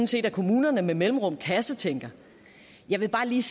set at kommunerne med mellemrum kassetænker jeg vil bare lige